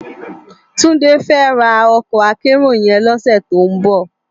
Tunde fè rá òkò ákèérò yèn lòsè tó n bò